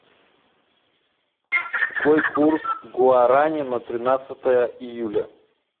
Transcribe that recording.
какой курс гуарани на тринадцатое июля